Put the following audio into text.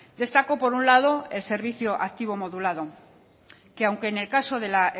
destaco por un lado el servicio activo modulado que aunque en el caso de la